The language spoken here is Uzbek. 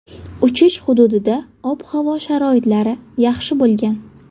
Uchish hududida ob-havo sharoitlari yaxshi bo‘lgan.